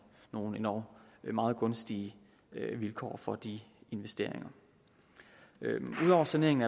nogle endog meget gunstige vilkår for de investeringer ud over saneringen